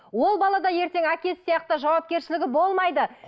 ол бала да ертең әкесі сияқты жауапкершілігі болмайды